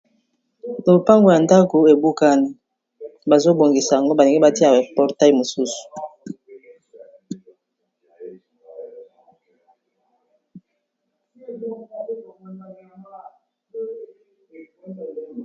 Lopango ya ndako ebukani, bazo bongisa yango ba lingi batia ba portail mosusu.